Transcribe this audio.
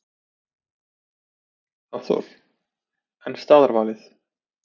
Hafþór: En staðarvalið?